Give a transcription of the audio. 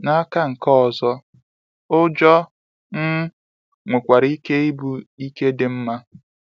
N’aka nke ọzọ, ụjọ um nwekwara ike ịbụ ike dị mma.